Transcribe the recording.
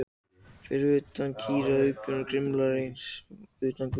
Fyrir utan kýraugað voru rimlar og þar var einnig sylla á veggnum utan við gluggann.